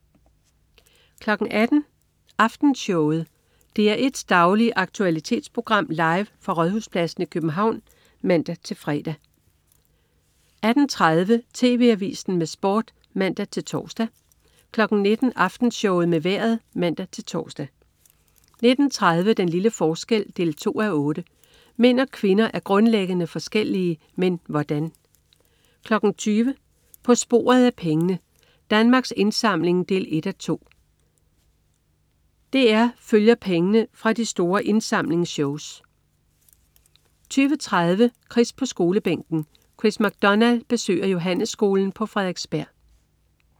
18.00 Aftenshowet. DR1s daglige aktualitetsprogram, live fra Rådhuspladsen i København (man-fre) 18.30 TV Avisen med Sport (man-tors) 19.00 Aftenshowet med Vejret (man-tors) 19.30 Den lille forskel 2:8. Mænd og kvinder er grundlæggende forskellige. Men hvordan? 20.00 På sporet af pengene. Danmarks Indsamling 1:2. DR følger pengene fra de store indsamlingsshows 20.30 Chris på Skolebænken. Chris MacDonald besøger Johannesskolen på Frederiksberg